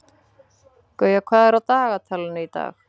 Gauja, hvað er á dagatalinu í dag?